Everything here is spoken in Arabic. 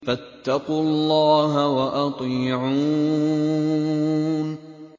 فَاتَّقُوا اللَّهَ وَأَطِيعُونِ